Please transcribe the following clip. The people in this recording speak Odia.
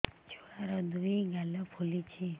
ଛୁଆର୍ ଦୁଇ ଗାଲ ଫୁଲିଚି